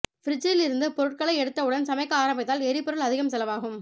ஃப்ரிட்ஜில் இருந்து பொருட்களை எடுத்தவுடன் சமைக்க ஆரம்பித்தால் எரிபொருள் அதிகம் செலவாகும்